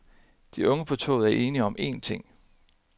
De unge på toget er enige om en ting.